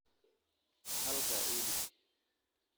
Halkaa ii dhig